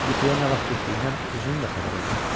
Yuxuya nə vaxt getdiyindən özünün də xəbəri olmadı.